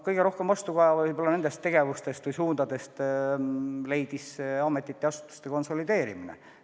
Kõige rohkem vastukaja nendest tegevustest või suundadest on leidnud ametiasutuste konsolideerimine.